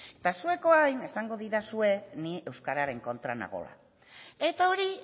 eta zuek orain esango didazue ni euskararen kontra nagoela eta hori